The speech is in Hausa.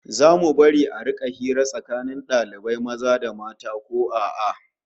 Zamu bari a rika hira tsakanin dalibai maza da mata ko a'a?